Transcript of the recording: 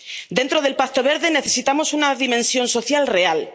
Dentro del Pacto Verde necesitamos una dimensión social real.